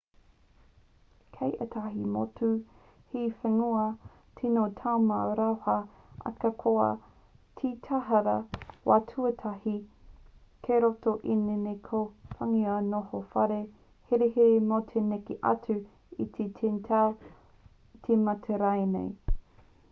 kei ētahi motu he whiunga tino taumaha rawa ahakoa he taihara wā tuatahi kei roto i ēnei ko ngā whiunga noho whare herehere mō te neke atu i te 10 tau te mate rānei